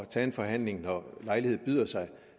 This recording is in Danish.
tage en forhandling når lejlighed byder sig